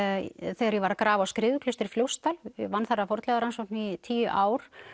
þegar ég var að grafa að Skriðuklaustri í Fljótsdal ég vann þar að fornleifarannsóknum í tíu ár